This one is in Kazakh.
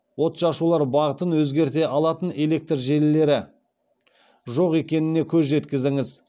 отшашулар бағытын өзгерте алатын электр желілері жоқ екеніне көз жеткізіңіз